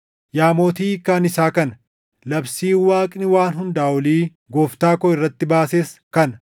“Yaa Mootii hiikkaan isaa kana; labsiin Waaqni Waan Hundaa Olii gooftaa koo irratti baases kana: